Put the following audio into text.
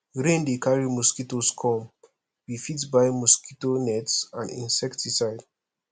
rain dey carry mosquitoes come we fit buy mosquito nets and insecticide